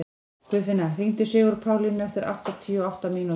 Guðfinna, hringdu í Sigurpálínu eftir áttatíu og átta mínútur.